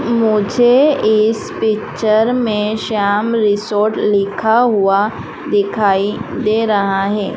मुझे इस पिक्चर में श्याम रिजॉर्ट लिखा हुआ दिखाई दे रहा है।